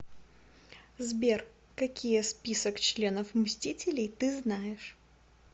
сбер какие список членов мстителей ты знаешь